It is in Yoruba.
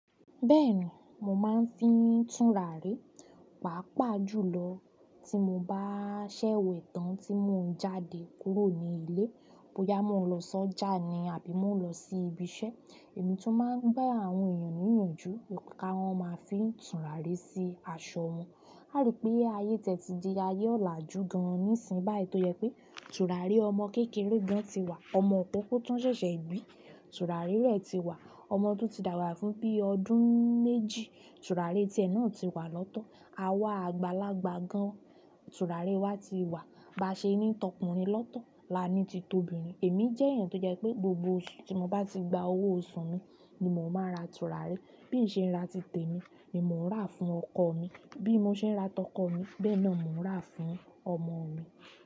Bẹ́ẹ̀ni, mo máa ń fín tùnràrí, pàápàá jùlọ tí mo bá ṣẹ̀ wẹ̀ tán tí mò ń jáde kúrò ní ilé, bóyá mò ń lọ sọ́jà ni àbí mò ń lọ sí ibi iṣẹ́. Èmi tún ma ń gba àwọn èèyàn níyànjú, kí wọ́n má a fín tùnràrí sí aṣọ wọn. Aá ri pé ayé tiẹ̀ ti di ayé ọ̀làjú gan-an nísìnyí báyìí tó jẹ pé tùràrí ọmọ kékeré gan án ti wà. Ọmọ ìkókó tán ṣẹ̀ṣẹ̀ bí, tùràrí rẹ̀ ti wà. Ọmọ tó ti dàgbà fún bí i ọdún méjì, tùràrí ti ẹ̀ náà ti wà lọ́tọ̀. Àwa àgbàlagbà gan, tùràrí i wa ti wà ba ṣe ní tọkùnrin lọ́tọ̀, la ní ti to bìnrin. Èmí jẹ́ èèyàn tó jẹ́ pé gbogbo oṣù tí mo bá ti gba owó oṣù mi ni mò má ń ra tùràrí. Bí n ṣé ra ti tèmi ni mò ń rà fún ọkọ ọ̀ mi bí mo ṣe ń ra tọkọ ọ̀ mi bẹ́ẹ̀ náà mò ń rà fún ọmọ ọ̀ mi.